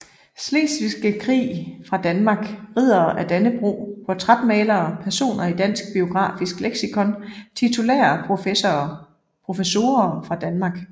Slesvigske Krig fra Danmark Riddere af Dannebrog Portrætmalere Personer i Dansk Biografisk Leksikon Titulære professorer fra Danmark